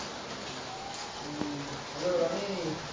উম HelloRoni